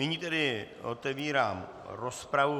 Nyní tedy otevírám rozpravu.